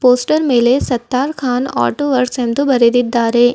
Poster ಮೇಲೆ Sattar Khan auto works ಎಂದು ಬರೆದಿದ್ದಾರೆ.